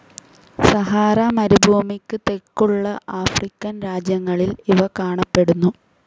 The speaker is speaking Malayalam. സഹാറ മരുഭൂമിക്ക് തെക്കുള്ള ആഫ്രിക്കൻ രാജ്യങ്ങളിൽ ഇവ കാണപ്പെടുന്നു.